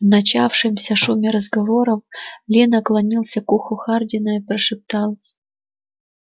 в начавшемся шуме разговоров ли наклонился к уху хардина и прошептал